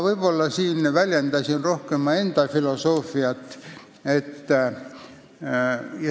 Ma väljendasin siin rohkem enda filosoofiat.